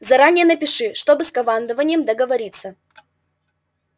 заранее напиши чтобы с командованием договориться